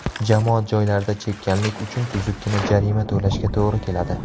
Jamoat joylarida chekkanlik uchun tuzukkina jarima to‘lashga to‘g‘ri keladi.